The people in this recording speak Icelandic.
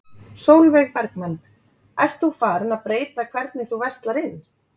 Sólveig Bergmann: Ert þú farin að breyta hvernig þú verslar inn?